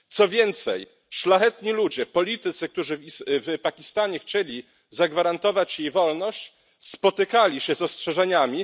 Co więcej, szlachetni ludzie, politycy, którzy w Pakistanie chcieli zagwarantować jej wolność, spotykali się z ostrzeżeniami.